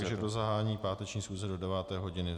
Takže do zahájení páteční schůze do 9. hodiny.